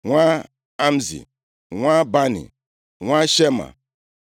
nwa Amzi, nwa Bani, nwa Shema,